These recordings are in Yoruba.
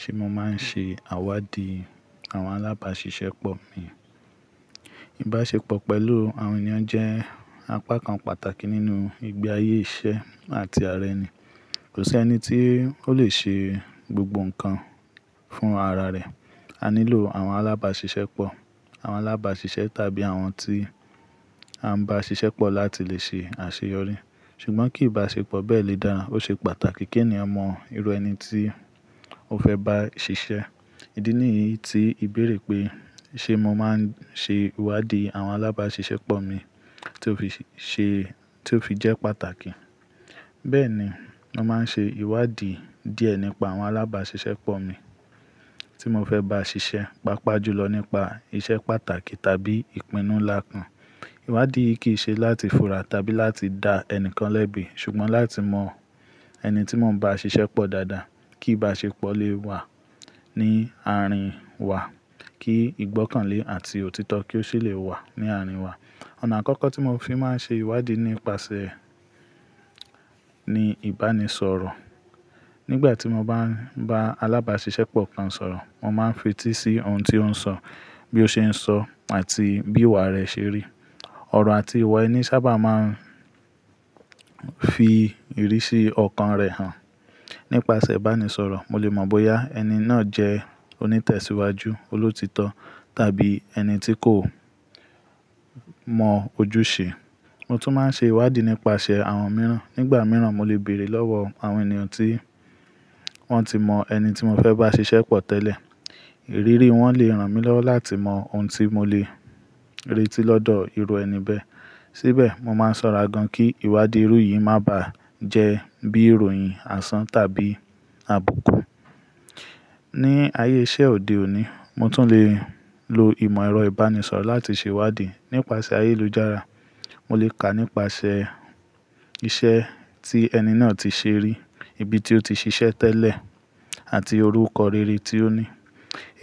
Ṣé mo máa ń ṣe ìwádìí àwọn alábàṣiṣẹ́ pọ mi? Ìbáṣepọ̀ pẹ̀lú àwọn ènìyàn jẹ́ apá kan pàtàkì nínú ìgbé ayé iṣẹ́ àti ara ẹni. Kò sí ẹni tí ó lè ṣe gbogbo nǹkan fún ara rẹ̀. A nílò àwọn alábàṣiṣẹ́ pọ, àwọn alábàṣiṣẹ́ tàbí àwọn tí a ń bá ṣiṣẹ́ pọ̀ láti lè ṣe àṣeyọrí. Ṣùgbọ́n kí ìbáṣepọ̀ bẹ́ẹ̀ lè dára, ó ṣe pàtàkì kí ènìyàn mọ irú ẹni tí ó fẹ́ bá ṣiṣẹ́. Ìdí nìyí tí ìbéèrè pé "Ṣé mo máa ń ṣe ìwádìí àwọn alábàṣiṣẹ́ pọ mi?" tí ó fì-- tí ó fi jẹ́ pàtàkì. Bẹ́ẹ̀ni, mo máa ń ṣe ìwádìí díẹ̀ nípa àwọn alábàṣiṣẹ́ pọ mi tí mo fẹ́ bá ṣiṣẹ́, pàápàá jùlọ̀ nípa iṣẹ́ pàtàkì tàbí ìpinnu ńlá kan. Ìwádìí yi kì í ṣe láti fura tàbí láti dá ẹni kan lẹ́bi, ṣùgbọ́n láti mọ ẹni tí màá ń bá ṣiṣẹ́ pọ̀ dáadáa, kí ìbáṣepọ̀ lè wà ní àárín wa, kí ìgbọ́kànlé àti òtítọ́ kí ó sì lè wà ní àárín wa. Ọ̀nà àkọ́kọ́ tí mo fi máa ń ṣe ìwádìí nípasẹ̀ ni ìbánisọ̀rọ̀. Nígbà tí mo bá ń bá alábàṣiṣẹ́ pọ̀ kan sọ̀rọ̀, mo máa ń fetí sí ohun tí ó ń sọ, bí ó ṣe ń sọ àti bí ìwà rẹ̀ ṣe rí. Ọ̀rọ̀ àti ìwà ẹni sábà máa ń fi ìrísí ọkàn rẹ̀ hàn. Nípasẹ̀ ìbánisọ̀rọ̀, mo lè mọ̀ bóyá ẹni náà jẹ́ onítẹ̀síwájú, olóòtítọ́ tàbí ẹni tí kò mọ ojúṣe. Mo tún máa ń ṣe ìwádìí nípasẹ̀ àwọn mìíràn. Nígbà mìíràn, mo lè béèrè lọ́wọ́ àwọn ènìyàn tí wọ́n ti mọ ẹni tí mo fẹ́ bá ṣiṣẹ́ pọ̀ tẹ́lẹ̀. Ìrírí wọn lè ràn mí lọ́wọ́ láti mọ ohun tí mo lè retí lọ́dọ̀ irú ẹni bẹ́ẹ̀. Síbẹ̀, mo máa ń ṣọ́ra gan-an kí ìwádìí irú yìí má bàá jẹ́ bí ìròyìn àsán tàbí àbùkù. Ní ayé iṣẹ́ òde òní, mo tún lè lo ìmọ̀ ẹ̀rọ ìbánisọ̀rọ̀ láti ṣe ìwádìí. Nípasẹ̀ ayélujára, mo lè kà nípasẹ̀ iṣẹ́ tí ẹni náà ti ṣe rí, ibi tí ó ti ṣiṣẹ́ tẹ́lẹ̀, àti orúkọ rere tí ó ní.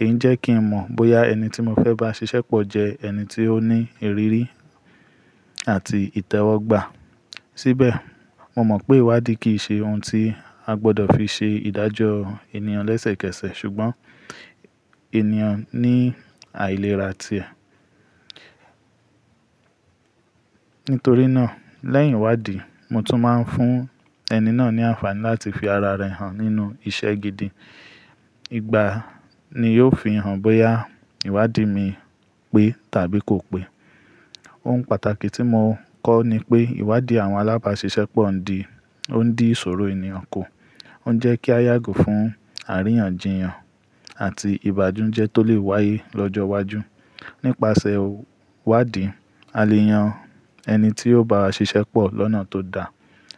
Èyí ń jẹ́ kí n mọ̀ bóyá ẹni tí mo fẹ́ bá ṣiṣẹ́ pọ̀ jẹ́ ẹni tí ó ní ìrírí àti ìtẹ́wọ́gbà. Síbẹ̀, mo mọ̀ pé ìwádìí kì í ṣe ohun tí a gbọdọ̀ fi ṣe ìdájọ́ ènìyàn lẹ́sẹ̀kẹsẹ̀, ṣùgbọ́n ènìyàn ní àìlera ti ẹ̀. Nítorí náà, lẹ́yìn ìwádìí, mo tún máa ń fún ẹni náà ní àǹfààní láti fi ara rẹ̀ hàn nínú iṣẹ́ gidi. Igba ni yóò fi hàn bóyá ìwádìí mi pé tàbí kò pé. Ohun pàtàkì tí mo kọ́ ni pé ìwádìí àwọn alábàṣiṣẹ́ pọ ń di-- ó ń dín ìṣòro ènìyàn kù. Ó ń jẹ́ kí a yàgò fún àríyànjiyàn àti ìbáńujẹ́ tó lè wáyé lọ́jọ́ iwájú. Nípasẹ̀ ìwádìí, a lè yan ẹni tí yóò bá wa ṣiṣẹ́ pọ̀ lọ́nà tó da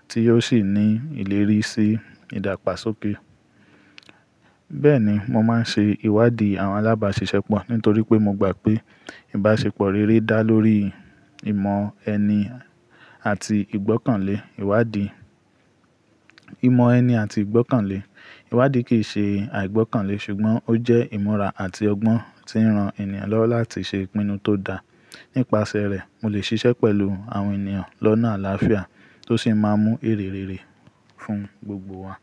tí yóò sì ní ìlérí sí ìdàgbàsókè. Bẹ́ẹ̀ni, mo máa ń ṣe ìwádìí àwọn alábàṣiṣẹ́pọ̀ nítorí pé mo gbà pé ìbáṣepọ̀ rere dá lórí ìmọ̀ ẹni àti ìgbọ́kànlé. Ìwádìí-- ìmọ̀ ẹni àti ìgbọ́kànlé. Ìwádìí kì í ṣe àìgbọ́kànlé, ṣùgbọ́n ó jẹ́ ìmúra àti ọgbọ́n tí ń ran ènìyàn lọ́wọ́ láti ṣe ìpinnu tó da. Nípasẹ̀ rẹ̀, mo lè ṣiṣẹ́ pẹ̀lú àwọn ènìyàn lọ́nà àlàáfíà tó sì máa mú èrè rere fún gbogbo wa.